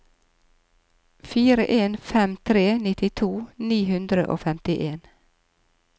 fire en fem tre nittito ni hundre og femtien